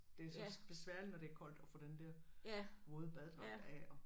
Det så besværligt når det er koldt at få den der våde badedragt af og